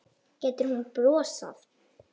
Getur hún brosað?